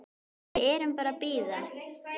Við erum bara að bíða.